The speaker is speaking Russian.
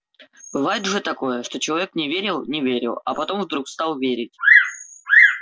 бывает же такое что человек не верил не верил а потом вдруг стал верить